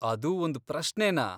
ಅದೂ ಒಂದ್ ಪ್ರಶ್ನೆನಾ!